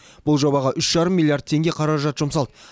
бұл жобаға үш жарым миллиард теңге қаражат жұмсалды